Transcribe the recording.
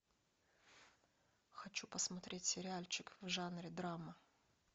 хочу посмотреть сериальчик в жанре драма